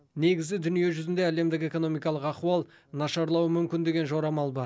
негізі дүние жүзінде әлемдік экономикалық ахуал нашарлауы мүмкін деген жорамал бар